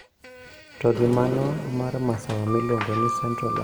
To gi mano mar masawa miluongo ni Central African Republic , Gueterres nowacho.